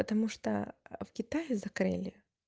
потому что в китае закрыли